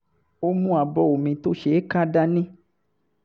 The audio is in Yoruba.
ó mú abọ́ omi tó ṣeé ká dání